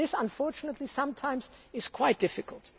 This, unfortunately, is sometimes quite difficult.